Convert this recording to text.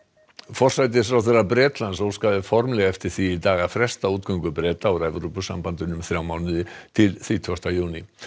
forsætisráðherra Bretlands óskaði formlega eftir því í dag að fresta útgöngu Breta úr Evrópusambandinu um þrjá mánuði til þrítugasta júní